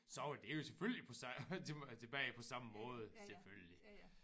Så var det jo selvfølgelig på tilbage på samme måde selvfølgelig